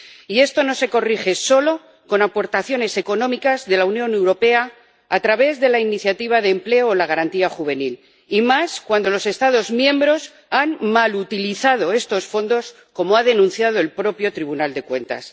Y esto no se corrige solo con aportaciones económicas de la Unión Europea a través de la Iniciativa de Empleo Juvenil o la Garantía Juvenil, y más cuando los Estados miembros han malutilizado estos fondos, como ha denunciado el propio Tribunal de Cuentas.